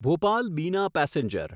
Bhopal Bina passenger